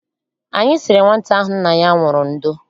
Anyị siri nwata ahụ nna ya nwụrụ ndo.